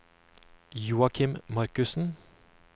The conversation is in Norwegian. Joachim Markussen